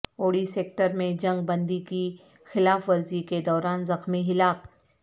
اوڑی sector میں جنگ بندی کی خلاف ورزی کے دوران زخمی ہلاک